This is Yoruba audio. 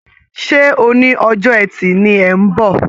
Ṣé oní ọjọ́ ẹti ni ẹ̀ ń bọ̀?